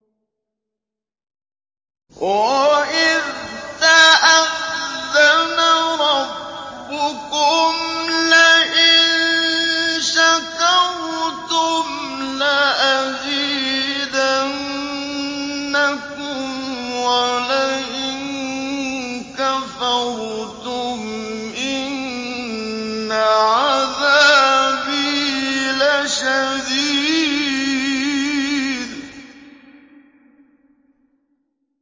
وَإِذْ تَأَذَّنَ رَبُّكُمْ لَئِن شَكَرْتُمْ لَأَزِيدَنَّكُمْ ۖ وَلَئِن كَفَرْتُمْ إِنَّ عَذَابِي لَشَدِيدٌ